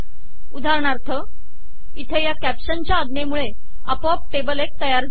उदाहरणार्थ इथे या कॅप्शनच्या आज्ञेमुळे आपोआप टेबल १ तयार झाले आहे